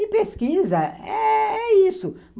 E pesquisa, é isso.